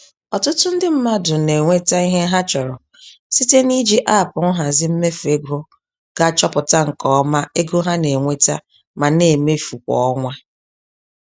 Ọtụtụ ndị mmadụ na-enweta ihe ha chọrọ site n'iji aapụ nhazi mmefu ego ga achọpụta nke ọma ego ha na-enweta ma na-emefu kwa ọnwa.